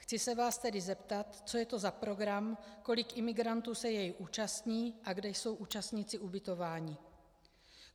Chci se vás tedy zeptat, co je to za program, kolik imigrantů se jej účastní a kde jsou účastníci ubytováni.